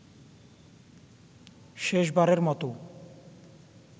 শেষবারের মতো